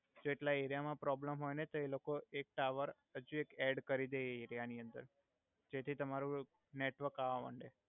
જો એટલા એરિયા મા પ્રોબ્લમ હોય ને તો એ લોકો એક ટાવએ હજુ એક એડ કરી દેય એ એરિયા નિ અંદર જેથી તમારુ નેટવર્ક આવા મન્ડે